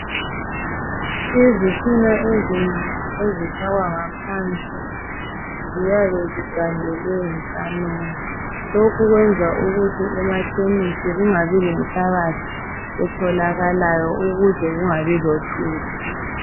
Izitina ezinengi ezifakwa ngaphansi, ziyabe zigandelwe yisamende. Lokhu kwenza ukuthi emakhemisi kungabi lenhlabathi etholakalayo ukuze kungabi lothuli.